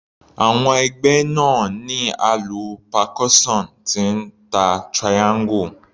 Àwọn ẹgbẹ́ náà ní alu percussion tí ń ta triangle.